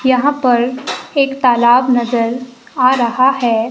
यहां पर एक तालाब नजर आ रहा है।